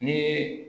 Ni